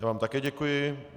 Já vám také děkuji.